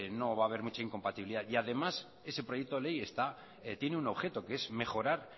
no va a haber mucha incompatibilidad y además ese proyecto de ley tiene un objeto que es mejorar